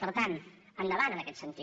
per tant endavant en aquest sentit